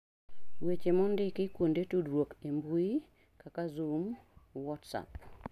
Weche mondiki, kuonde tudruok e mbuyi kaka Zoom, WhatsApp